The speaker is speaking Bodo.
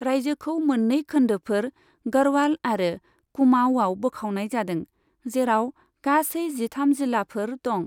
रायजोखौ मोन्नै खोन्दोफोर गढ़वाल आरो कुमाऊआव बोखावनाय जादों, जेराव गासै जिथाम जिल्लाफोर दं।